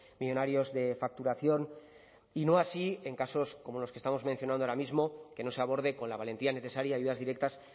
millónarios de facturación y no así en casos como los que estamos mencionando ahora mismo que no se aborde con la valentía necesaria ayudas directas